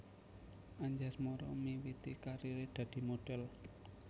Anjasmara miwiti kariré dadi modhèl